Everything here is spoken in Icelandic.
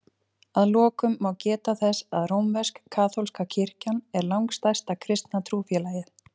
Að lokum má geta þess að rómversk-kaþólska kirkjan er langstærsta kristna trúfélagið.